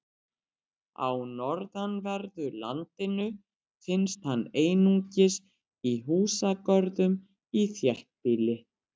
Á norðanverðu landinu finnst hann einungis í húsagörðum í þéttbýli.